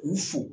U f